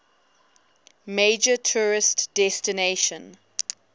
major tourist destination